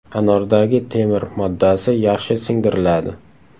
Anordagi temir moddasi yaxshi singdiriladi.